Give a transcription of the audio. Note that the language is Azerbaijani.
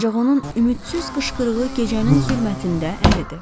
Ancaq onun ümidsiz qışqırığı gecənin zülmətində əridi.